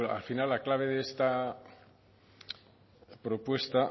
al final la clave de esta propuesta